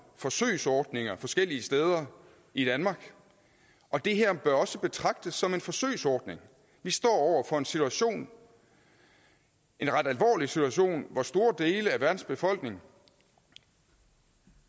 forsøgsordninger forskellige steder i danmark og det her bør også betragtes som en forsøgsordning vi står over for en situation en ret alvorlig situation hvor store dele af verdens befolkning